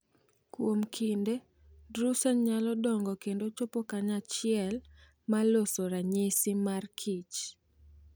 Kuom kinde, drusen nyalo dongo kendo chopo kanyachiel, ma loso ranyisi mar kich.